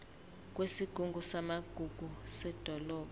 kwesigungu samagugu sedolobha